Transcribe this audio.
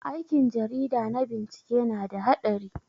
Aikin jarida na bincike na da haɗari.